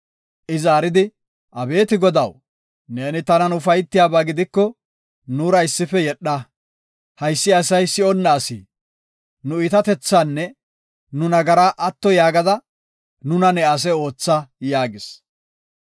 I zaaridi, “Abeeti Godaw, neeni tanan ufaytiyaba gidiko, nuura issife yedha. Haysi asay si7onna asi; nu iitatethaanne nu nagaraa atto yaagada, nuna ne ase ootha” yaagis.